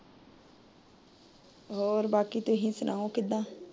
ਹੋਰ ਬਾਕੀ ਤੁਸੀਂ ਸੁਣਾਓ ਕਿਦਾਂ।